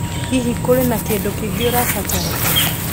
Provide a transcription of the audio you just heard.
Hihi, kũrĩ na kĩndũ kĩngĩ ũrabatara?